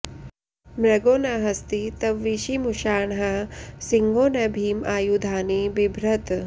मृगो न हस्ती तविषीमुषाणः सिंहो न भीम आयुधानि बिभ्रत्